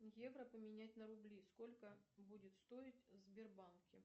евро поменять на рубли сколько будет стоить в сбербанке